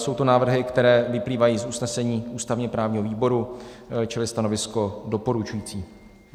Jsou to návrhy, které vyplývají z usnesení ústavně-právního výboru, čili stanovisko doporučující.